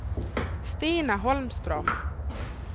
Stina Holmström